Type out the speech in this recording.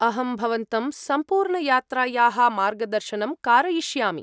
अहं भवन्तं सम्पूर्णयात्रायाः मार्गदर्शनं कारयिष्यामि।